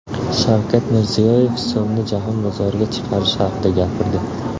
Shavkat Mirziyoyev so‘mni jahon bozoriga chiqarish haqida gapirdi .